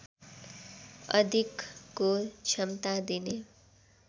अधिकको क्षमता दिने